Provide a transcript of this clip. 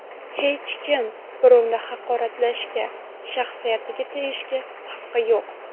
Hech kim birovni haqoratlashga, shaxsiyatiga tegishga haqqi yo‘q.